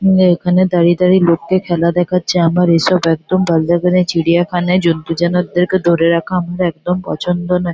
অম এখানে দাড়িয়ে দাড়িয়ে লোককে খেলা দেখাচ্ছে আমার ওসব একদম ভালো লাগে না । চিরিয়াখানায় জন্তু জানোয়রদেরকে ধরে রাখা হয় একদম পছন্দ নায় ।